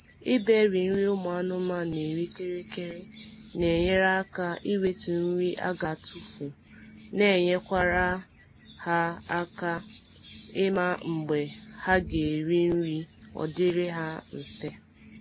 ịberi nri ụmụ anụmanụ na eri kịrịkịrị na enyere aka ewetu nri aga atufu na nyekwara ha aka ịma mgbe ha ga eri nri odiri ha mfề